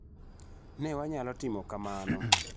Ne wanyalo timo kamano.